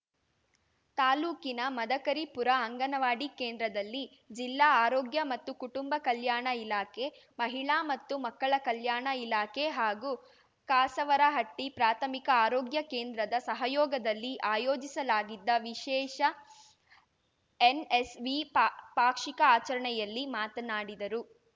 ತಾಲೂಕಿನ ಮದಕರಿಪುರ ಅಂಗನವಾಡಿ ಕೇಂದ್ರದಲ್ಲಿ ಜಿಲ್ಲಾ ಆರೋಗ್ಯ ಮತ್ತು ಕುಟುಂಬ ಕಲ್ಯಾಣ ಇಲಾಖೆ ಮಹಿಳಾ ಮತ್ತು ಮಕ್ಕಳ ಕಲ್ಯಾಣ ಇಲಾಖೆ ಹಾಗೂ ಕಾಸವರಹಟ್ಟಿಪ್ರಾಥಮಿಕ ಆರೋಗ್ಯ ಕೇಂದ್ರದ ಸಹಯೋಗದಲ್ಲಿ ಆಯೋಜಿಸಲಾಗಿದ್ದ ವಿಶೇಷ ಎನ್‌ಎಸ್‌ವಿ ಪಾ ಪಾಕ್ಷಿಕ ಆಚರಣೆಯಲ್ಲಿ ಮಾತನಾಡಿದರು